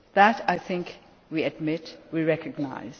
That, I think we admit, we recognise.